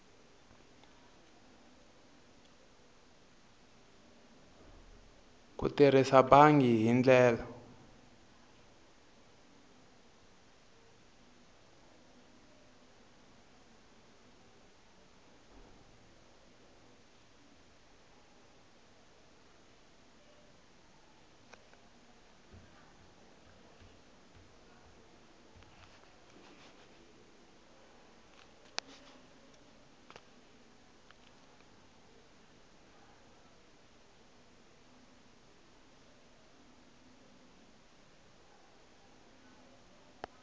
ku tirhisa bangi hi ndlela